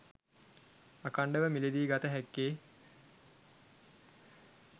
අඛණ්ඩව මිලදී ගත හැක්කේ